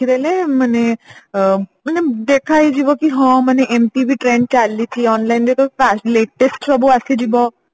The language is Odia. ମାନେ ଅ ମାନେ ଦେଖା ହେଇଯିବ କି ହଁ ମାନେ ଏମତି ବି trend ଚାଲିଛି online ରେ ତ ପ latest ସବୁ ଆସିଯିବ